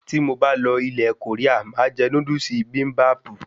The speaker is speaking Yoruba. Tí mo bá lọ ilè Korea máà jé Núdúsì Bibimbap